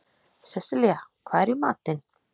Seselía, hvað er í matinn?